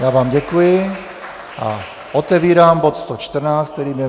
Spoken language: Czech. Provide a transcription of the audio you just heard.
Já vám děkuji a otevírám bod 114, kterým je